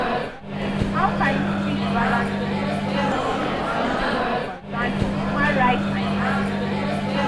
How you fit balance di need for di security with di concern for human rights and dignity?